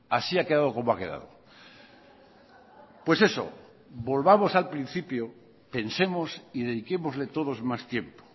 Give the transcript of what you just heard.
así ha quedado como ha quedado pues eso volvamos al principio pensemos y dediquémosle todos más tiempo